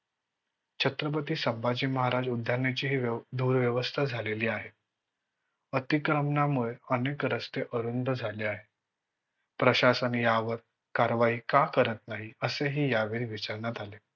छत्रपती संभाजी महाराज उद्यानाची ही दुर्व्यवस्था झालेली आहे. अतिक्रमणामुळे अनेक रस्ते अरुंद झाले आहे. प्रशासन यावर कारवाही का करत नाही असेही यावेळी विचारण्यात आले